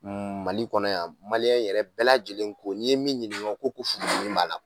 Mali kɔnɔ yan maliyɛn yɛrɛ bɛɛ lajɛlen ko n'i ye min ɲininka o ko ko furudimi b'a la